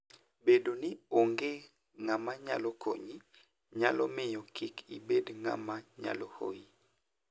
Bedo ni onge ng'ama nyalo konyi, nyalo miyo kik ibed ng'ama nyalo hoyi.